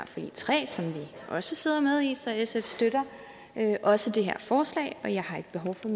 også sidder med i så sf støtter også det her forslag og jeg har ikke behov for